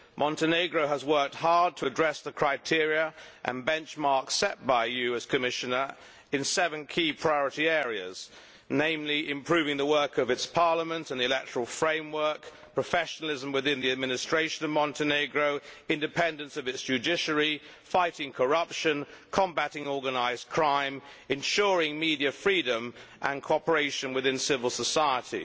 Montenegro has worked hard to address the criteria and benchmarks set by you as Commissioner in seven key priority areas, namely improving the work of its parliament and the electoral framework, professionalism within the administration of Montenegro, independence of the judiciary, fighting corruption, combating organised crime, ensuring media freedom and cooperation within civil society.